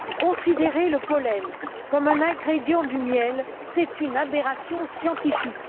Considérer le pollen comme un ingrédient du miel, c'est une aberration scientifique.